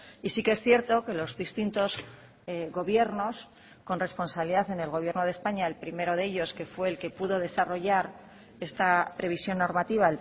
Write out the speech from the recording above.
y sí que es cierto que los distintos gobiernos con responsabilidad en el gobierno de españa el primero de ellos que fue el que pudo desarrollar esta previsión normativa